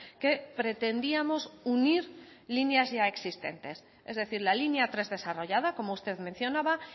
que pretendíamos unir líneas ya existentes es decir la línea tres desarrollada como usted mencionaba